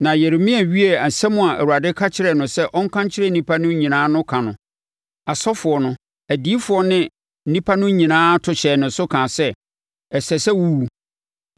Na Yeremia wiee nsɛm a Awurade ka kyerɛɛ no sɛ ɔnka nkyerɛ nnipa no nyinaa no ka no, asɔfoɔ no, adiyifoɔ ne nnipa no nyinaa to hyɛɛ no so kaa sɛ, “Ɛsɛ sɛ wo wu!